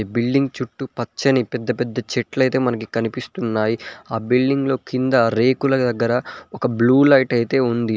Building చుట్టూ పచ్చని పెద్ద పెద్ద చెట్లు అయితే మనకి కనిపిస్తున్నాయి ఆ బిల్డింగ్ లో కింద రేకుల దగ్గర ఒక బ్లూ లైట్ అయితే ఉంది.